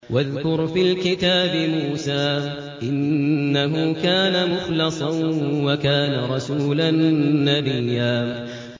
وَاذْكُرْ فِي الْكِتَابِ مُوسَىٰ ۚ إِنَّهُ كَانَ مُخْلَصًا وَكَانَ رَسُولًا نَّبِيًّا